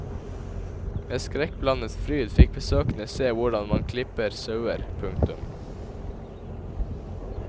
Med skrekkblandet fryd fikk besøkende se hvordan man klipper sauer. punktum